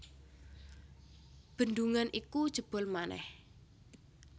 Bendungan iku jebol manèh